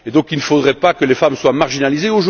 Il ne faudrait pas que les femmes soient marginalisées.